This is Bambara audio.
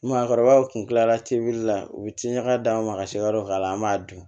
Maakɔrɔbaw kun kilala teli la u bi tiɲaka d'an ma ka se ka yɔrɔ k'a la an b'a dun